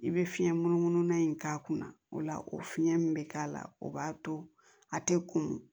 I bɛ fiɲɛ munumunu na in k'a kunna o la o fiɲɛ min bɛ k'a la o b'a to a tɛ kunun